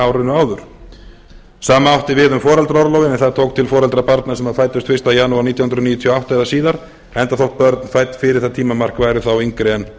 árinu áður sama átti við um foreldraorlofið en það tók til foreldra barna sem fæddust fyrsta janúar nítján hundruð níutíu og átta eða síðar enda þótt börn fædd fyrir það tímamark væru þá yngri en átta